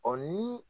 Ɔ ni